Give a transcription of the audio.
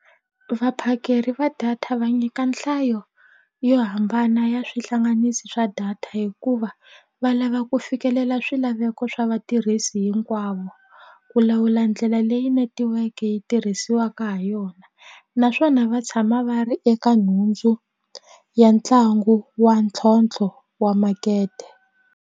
Vaphakeri va data va nyika nhlayo yo hambana ya swihlanganisi swa data hikuva va lava ku fikelela swilaveko swa vatirhisi hinkwavo ku lawula ndlela leyi netiweke yi tirhisiwaka ha yona naswona va tshama va ri eka nhundzu ya ntlangu wa ntlhontlho wa makete.